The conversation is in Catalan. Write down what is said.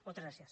moltes gràcies